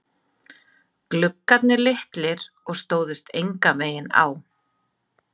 Gluggarnir litlir og stóðust enganveginn á.